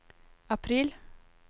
april